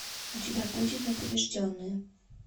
у тебя будет непобежденные